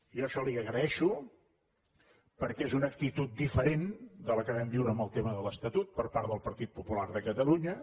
jo això li ho agraeixo perquè és una actitud diferent de la que vam viure en el tema de l’estatut per part del partit popular de catalunya